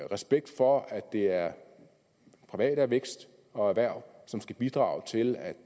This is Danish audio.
respekt for at det er privat vækst og erhverv som skal bidrage til at